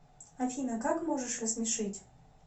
афина как можешь рассмешить